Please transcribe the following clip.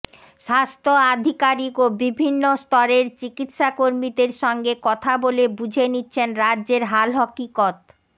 স্বাস্থ্য আধিকারিক ও বিভিন্ন স্তরের চিকিত্সাকর্মীদের সঙ্গে কথা বলে বুঝে নিচ্ছেন রাজ্যের হাল হকিকত